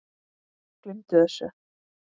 Gleymdu þessu.